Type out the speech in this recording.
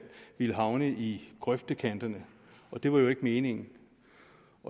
ville havne i grøftekanterne og det var jo ikke meningen